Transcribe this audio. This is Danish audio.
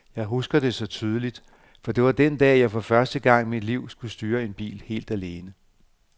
Jeg husker det så tydeligt, for det var den dag, at jeg for første gang i mit liv skulle styre en bil helt alene.